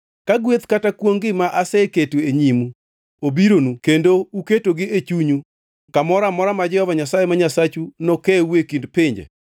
Ka gweth kata kwongʼ-gi ma aseketo e nyimu obironu kendo uketogi e chunyu kamoro amora ma Jehova Nyasaye ma Nyasachu nokewu e kind pinje,